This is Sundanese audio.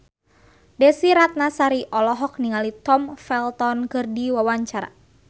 Desy Ratnasari olohok ningali Tom Felton keur diwawancara